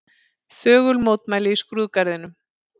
Þögul mótmæli í skrúðgarðinum